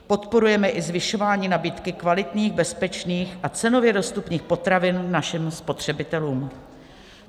Podporujeme i zvyšování nabídky kvalitních, bezpečných a cenově dostupných potravin našim spotřebitelům".